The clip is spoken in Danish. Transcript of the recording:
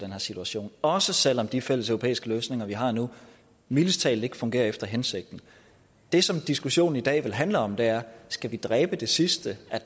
her situation også selv om de fælleseuropæiske løsninger vi har nu mildest talt ikke fungerer efter hensigten det som diskussionen i dag vel handler om er skal vi dræbe det sidste af